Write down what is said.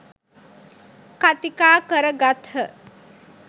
කථිකා කර ගත්හ.